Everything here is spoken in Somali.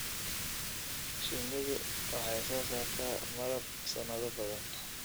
Shinnidu waxay soo saartaa malab sanado badan.